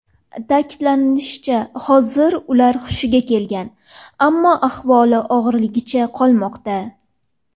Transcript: Ta’kidlanishicha, hozir ular hushiga kelgan, ammo ahvoli og‘irligicha qolmoqda.